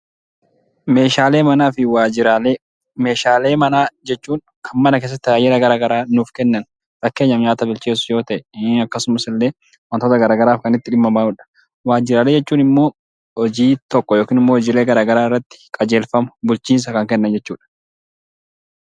Meeshaalee manaa fi waajiraalee Meeshaalee manaa jechuun kan mana keessatti tajaajila garaagaraa nuuf kennan yoo ta'e, fakkeenyaaf nyaata bilcheessuu, akkasumas illee waantota garaagaraaf kan itti dhimma baanudha. Waajiraalee jechuun immoo hojii tokko yookaan immoo garaagaraa irraatti qajeelfama, bulchiinsa kan kennan jechuudha.